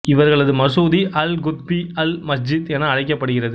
இவர்களது மசூதி அல் குத்பி அல் மஸ்ஜித் என அழைக்கப்படுகிறது